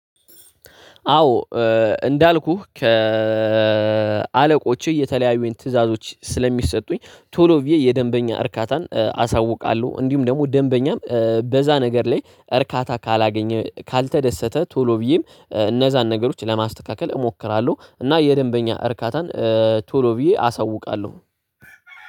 አዎ እንዳልኩህ ከአለቆችህ የተለያዩ ትዕዛዞች ስለሚሰጡኝ ቶሎ ብዬ የደንበኛ እርካታን አሳውቃለሁ። እንዲሁም ደግሞ ደንበኛም በዛ ነገር ላይ እርካታ ካላገኘ ካልተደሰተ ቶሎ ብዬም እነዛን ነገሮች ለማስተካከል እሞክራለሁ እና የደንበኛ እርካታን ቶሎ ብዬ አሳውቃለሁ።